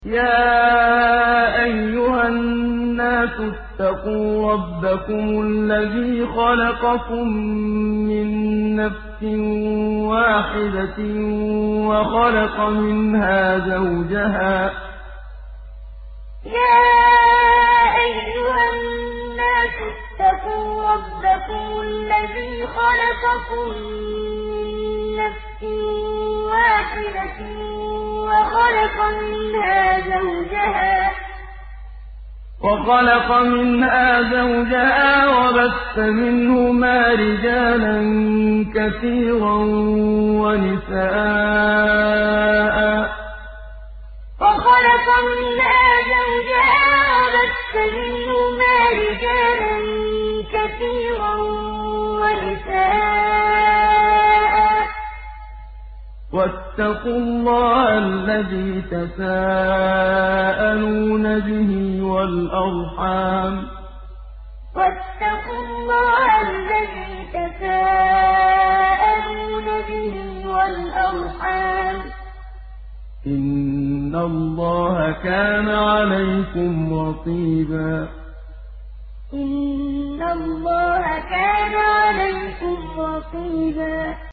يَا أَيُّهَا النَّاسُ اتَّقُوا رَبَّكُمُ الَّذِي خَلَقَكُم مِّن نَّفْسٍ وَاحِدَةٍ وَخَلَقَ مِنْهَا زَوْجَهَا وَبَثَّ مِنْهُمَا رِجَالًا كَثِيرًا وَنِسَاءً ۚ وَاتَّقُوا اللَّهَ الَّذِي تَسَاءَلُونَ بِهِ وَالْأَرْحَامَ ۚ إِنَّ اللَّهَ كَانَ عَلَيْكُمْ رَقِيبًا يَا أَيُّهَا النَّاسُ اتَّقُوا رَبَّكُمُ الَّذِي خَلَقَكُم مِّن نَّفْسٍ وَاحِدَةٍ وَخَلَقَ مِنْهَا زَوْجَهَا وَبَثَّ مِنْهُمَا رِجَالًا كَثِيرًا وَنِسَاءً ۚ وَاتَّقُوا اللَّهَ الَّذِي تَسَاءَلُونَ بِهِ وَالْأَرْحَامَ ۚ إِنَّ اللَّهَ كَانَ عَلَيْكُمْ رَقِيبًا